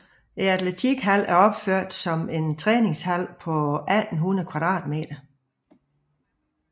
Atletikhallen er opført som en træningshal på 1800 m²